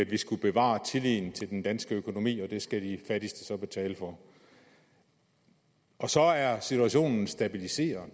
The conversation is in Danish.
vi skulle bevare tilliden til den danske økonomi og det skal de fattigste så betale for så er situationen stabiliseret